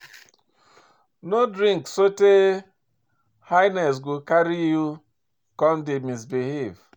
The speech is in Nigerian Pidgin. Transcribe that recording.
No drink sotey higness go carry you come dey misbehave